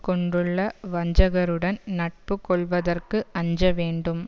கொண்டுள்ள வஞ்சகருடன் நட்பு கொள்வதற்கு அஞ்ச வேண்டும்